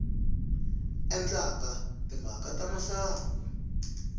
ku endla timhaka ta masangu